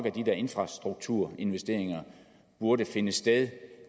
at de der infrastrukturinvesteringer burde finde sted